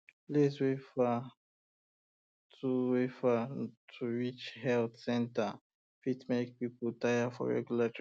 place wey far to wey far to reach health centre fit make people tire for regular checkup